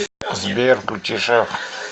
сбер включи шеф